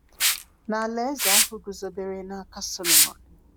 Na alaeze ahụ guzobere n’aka Solomon.